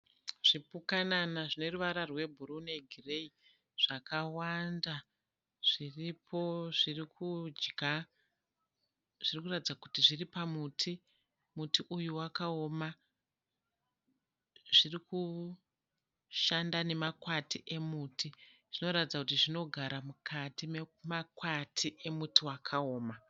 Zvipukanana zvineruvara rwebhuruu negireyi zvakawanda zviripo zvirikudya. Zvirikuratidza kuti zviri pamuti. Muti uyu wakaoma. Zvirikushanda nemakwati emiti. Zvinoratidza kuti zvinogara mukati memakwati emuti wakaoma.